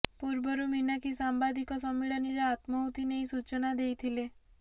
ପୂର୍ବରୁ ମିନାକ୍ଷୀ ସାମ୍ବାଦିକ ସମ୍ମିଳନୀରେ ଆତ୍ମାହୁତି ନେଇ ସୂଚନା ଦେଇଥିଲେ